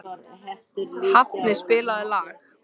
Hafni, spilaðu lag.